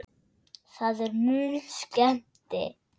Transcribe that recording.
Það er mun skemmti